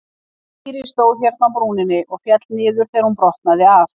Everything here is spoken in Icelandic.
Týri stóð hérna á brúninni og féll niður þegar hún brotnaði af.